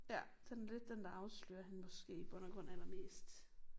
Ja den lidt den der afslører hende måske i bund og grund allermest